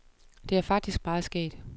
Det er faktisk meget skægt.